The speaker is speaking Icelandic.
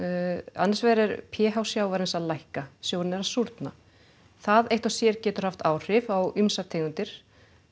annars vegar er p h sjávarins að lækka sjórinn er að súrna það eitt og sér getur haft áhrif á ýmsar tegundir